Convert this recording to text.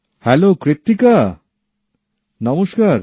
hello Krittika নমস্কার